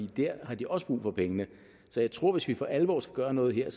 der har de også brug for pengene så jeg tror at hvis vi for alvor skal gøre noget her